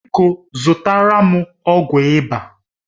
Biko zụtara m ọgwụ ịba